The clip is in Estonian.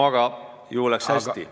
Aga ju läks hästi.